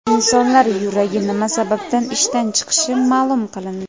Insonlar yuragi nima sababdan ishdan chiqishi ma’lum qilindi.